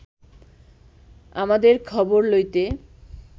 আমাদের খবর লইতে